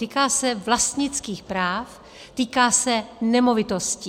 Týká se vlastnických práv, týká se nemovitostí.